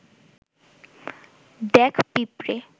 দেখ পিঁপড়ে